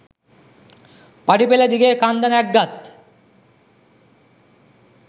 පඩි පෙළ දිගේ කන්ද නැග්ගත්